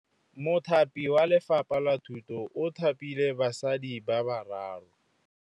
Mothapi wa Lefapha la Thutô o thapile basadi ba ba raro.